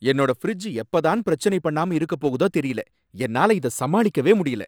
என்னோட ஃபிரிட்ஜ் எப்பதான் பிரச்சனை பண்ணாம இருக்க போகுதோ தெரியல! என்னால இத சமாளிக்கவே முடியல